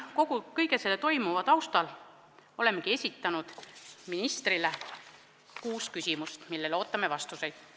Kõige selle taustal olemegi esitanud ministrile kuus küsimust, millele ootame vastuseid.